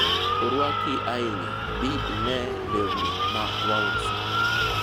orwaki ahinya, bi ine lewni ma wauso